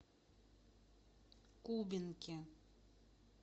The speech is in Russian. кубинке